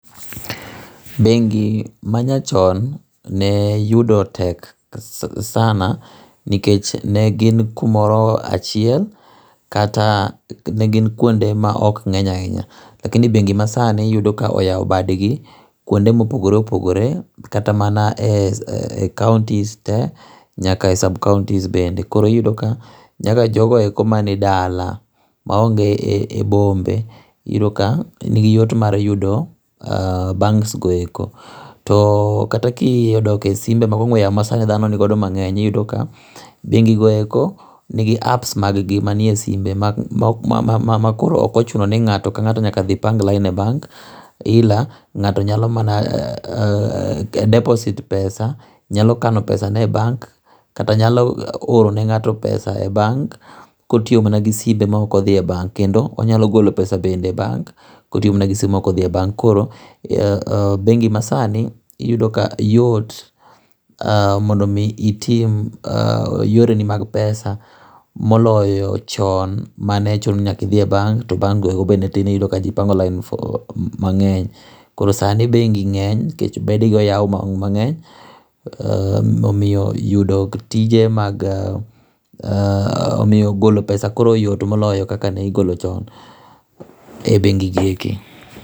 Bengi ma nya chon ne yudo tek sana ni kech ne gin ku moro achiel kata ne gin kuonde ma ok ngeny a hinya lakini bengi ma sani iyudo ka oyawo bad gi kuonde ma opogore opogore kata mana e counties te nyaka e sub counties bende koro inyalo yudo ka nyaka jogo duto ma ni dala ma onge be bombe ni gi yot mar yudo banks go e ko to kata ka i dok e ongweyo simbe ma dhano ni go do sani mangeny i yudo ka bengi go e ko ni gi apps gi ma ni e simbe ma ok ochuno ngato ka ngato nyaka dhi pang line e bank ila ngato nyalo mana deposit pesa nyalo kano ne pesa ne e bank kata nyalo oro ne ngato pesa e bank ka otiyo mana gi simbe ma ok odhie bank kendo onyalo golo bende e bank ka otiyo ma gi simbe ma ok o dhi e bank koro bengi ma sani iyudo ka yot mondo mi itim yore ni mag pesa moloyo chon ma ne chuno ni nyaka idhi e bank to bank iyudo ka bank go go tin to ji opango line mangeny koro sani bengi ngeny nikech bede gi oyaw mangeny omiyo golo pesa koro yot moloyo chon be bengi e ki.